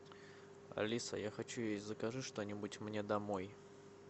алиса я хочу есть закажи что нибудь мне домой